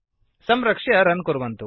संरक्ष्य रन् कुर्वन्तु